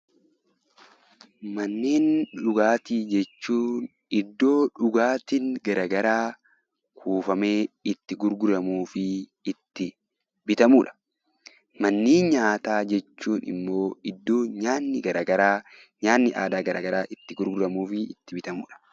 Manneen dhugaatii jechuun iddoo dhugaatiin garaagaraa kuufamee itti gurguramuu fi itti argamudha. Manneen nyaataa jechuun immoo iddoo nyaatni aadaa garaagaraa itti gurguramuu fi itti bitamudha.